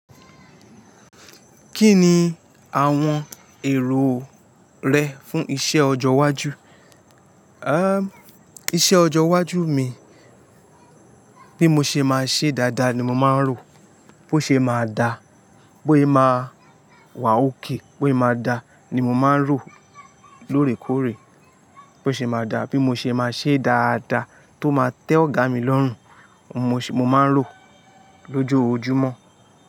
Kí ni àwọn èrò rẹ fún iṣẹ ọjọ́ iwájú? Iṣẹ ọjọ iwájú mi, bí mo ṣe máa ṣe dáadáa ni mo máa ń rò. Bo ṣe máa da, bóyé ma wà okay, bóyé ma da ni mo máa ń rò lóòrèkóòrè. Bo ṣe máa da, bí mo ṣe máa ṣe dáadáa tó máa tẹ́ ọ̀gá mi lọ́rùn, mo máa ń rò lójojúmọ́.